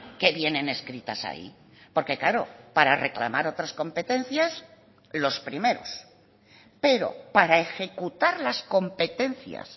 que vienen escritas ahí porque claro para reclamar otras competencias los primeros pero para ejecutar las competencias